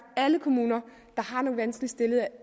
at alle kommuner der har nogle vanskeligt stillede